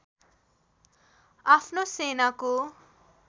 आफ्नो सेनाको